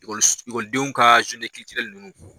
Ekɔliso ekɔlidenw ka nunnu